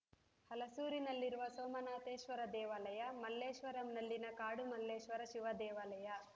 ಹಲಸೂರಿನಲ್ಲಿರುವ ಸೋಮನಾಥೇಶ್ವರ ದೇವಾಲಯ ಮಲ್ಲೇಶ್ವರಂನಲ್ಲಿನ ಕಾಡು ಮಲ್ಲೇಶ್ವರ ಶಿವದೇವಾಲಯ